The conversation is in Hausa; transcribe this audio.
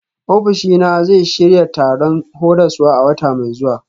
Ofishina zai shirya taron horaswa a wata mai zuwa.